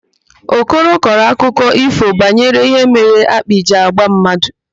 Okoro kọrọ akụkọ ífò banyere ihe mere akpị ji agba mmadụ.